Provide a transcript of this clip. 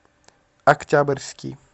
октябрьский